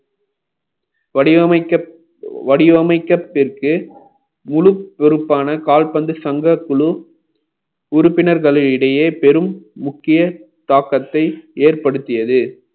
வடிவமைக்கப்பட்ட~ வடிவமைக்கத்துக்கு முழு பொறுப்பான கால்பந்து சங்கக் குழு உறுப்பினர்கள் இடையே பெரும் முக்கிய தாக்கத்தை ஏற்படுத்தியது